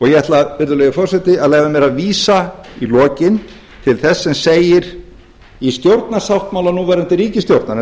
ég ætla virðulegi forseti leyfa mér að vísa í lokin til þess sem segir í stjórnarsáttmála núverandi ríkisstjórnar en